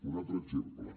un altre exemple